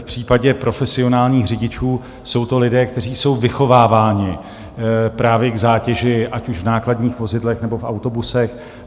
V případě profesionálních řidičů jsou to lidé, kteří jsou vychováváni právě k zátěži ať už v nákladních vozidlech, nebo v autobusech.